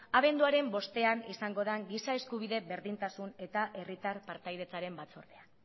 abenduaren bostean izango den giza eskubide berdintasun eta herritar partaidetzaren batzordean